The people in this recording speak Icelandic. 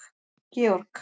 Georg